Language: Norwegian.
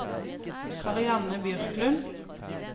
Karianne Bjørklund